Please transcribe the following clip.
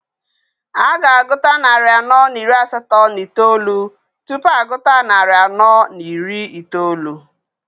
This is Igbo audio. A ga-agụta narị anọ na iri asatọ na itoolu tupu agụta narị anọ na iri itoolu.